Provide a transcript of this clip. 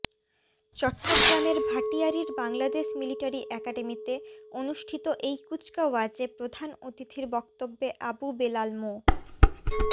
চট্টগ্রামের ভাটিয়ারীর বাংলাদেশ মিলিটারি একাডেমিতে অনুষ্ঠিত এই কুচকাওয়াজে প্রধান অতিথির বক্তব্যে আবু বেলাল মো